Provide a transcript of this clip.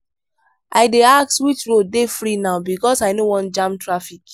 i dey ask which road dey free now because i no wan jam traffic.